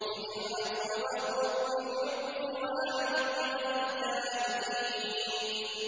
خُذِ الْعَفْوَ وَأْمُرْ بِالْعُرْفِ وَأَعْرِضْ عَنِ الْجَاهِلِينَ